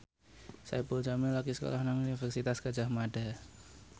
Saipul Jamil lagi sekolah nang Universitas Gadjah Mada